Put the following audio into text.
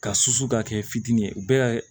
Ka susu ka kɛ fitinin ye u bɛɛ